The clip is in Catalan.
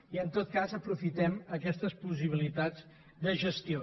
i en tot cas aprofitem aquestes possibilitats de gestió